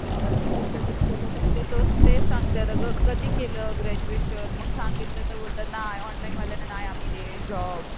आता ते तर तेच सांगतायत गं कधी केलं ग्रॅडज्युएशन मग सांगितलं तर बोलतात नाही ऑनलाईनवाल्यांना नाही आम्ही देत जॉब.